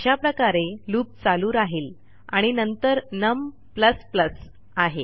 अशा प्रकारे लूप चालू राहिल आणि नंतर नम आहे